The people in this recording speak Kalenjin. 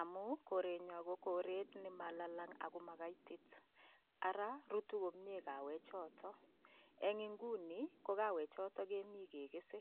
amun korenyon ko koret nelalang ak ko makaitit, araa rutu komnye kawechoton, eng ' ing'uni ko kawechotok kemii kekese.